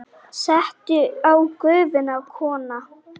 Settu á Gufuna, kona!